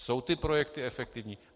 Jsou ty projekty efektivní?